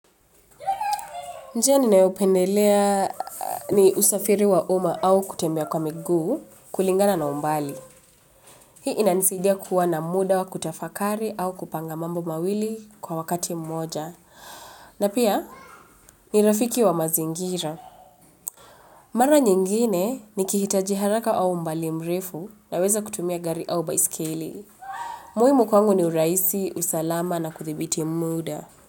Njia ninayopendelea ni usafiri wa umma au kutembea kwa miguu kulingana na umbali. Hii inanisidia kuwa na muda wa kutafakari au kupanga mambo mawili kwa wakati mmoja. Na pia ni rafiki wa mazingira. Mara nyingine nikihitaji haraka wa umbali mrefu naweza kutumia gari au baisikeli. Muhimu kwangu ni urahisi, usalama na kuthibiti muda.